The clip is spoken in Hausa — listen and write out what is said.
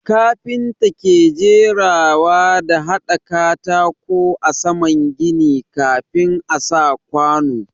Kafinta ke jerawa da hada katako a saman gini kafin a sa kwanu.